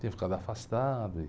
Tinha ficado afastado e